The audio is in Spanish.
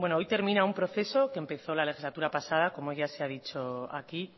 hoy termina un proceso que empezó la legislatura pasada como ya se ha dicho aquí